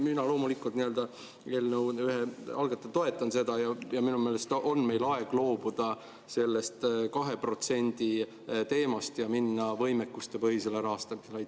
Mina loomulikult eelnõu ühe algatajana toetan seda ja minu meelest on meil aeg loobuda sellest 2% teemast ja minna üle võimekustepõhisele rahastamisele.